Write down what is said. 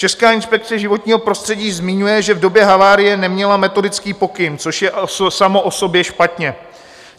Česká inspekce životního prostředí zmiňuje, že v době havárie neměla metodický pokyn, což je samo o sobě špatně.